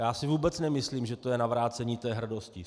Já si vůbec nemyslím, že to je navrácení té hrdosti.